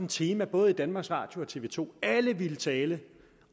tema både i danmarks radio og i tv to og alle ville tale